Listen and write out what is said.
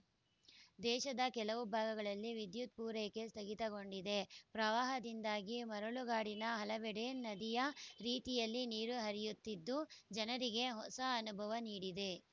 ದೇಶದ ಕೆಲವು ಭಾಗಗಳಲ್ಲಿ ವಿದ್ಯುತ್‌ ಪೂರೈಕೆ ಸ್ಥಗಿತಗೊಂಡಿದೆ ಪ್ರವಾಹದಿಂದಾಗಿ ಮರಳುಗಾಡಿನ ಹಲವೆಡೆ ನದಿಯ ರೀತಿಯಲ್ಲಿ ನೀರು ಹರಿಯುತ್ತಿದ್ದು ಜನರಿಗೆ ಹೊಸ ಅನುಭವ ನೀಡಿದೆ